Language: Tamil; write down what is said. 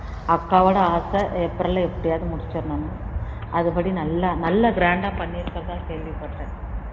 அது படி நல்லா நல்லா grand டா பண்ணி இருக்கிறதா கேள்வி பட்டேன்